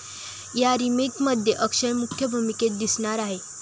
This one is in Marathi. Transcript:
या रिमेकमध्ये अक्षय मुख्य भूमिकेत दिसणार आहे.